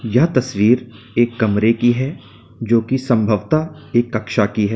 यह तस्वीर एक कमरे की है जो कि संभवत एक कक्षा की है।